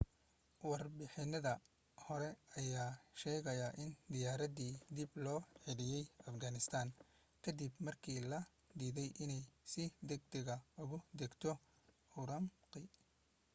warbixinada hore ayaa sheegaaya in diyaaradii dib logu celiyay afghanistan ka dib markii loo diiday inay si degdeg ah ugu degto ürümqi